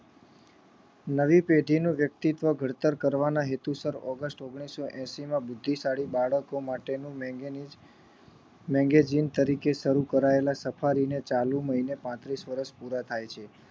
નવી પેઢી નું વ્યક્તિત્વ ઘડતર કરવાના હેતસર ઓગસ્ટ ઓન્ગ્લીસો ને એસી માં બુદ્ધિશાળી બાળકો માટેનું magazine તરીકે શરુ કરાયેલા સફારી ને આજે પાંત્રીસ વર્ષ પૂરા થાય છે